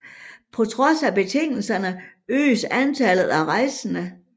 På trods af betingelserne øges antallet af rejsende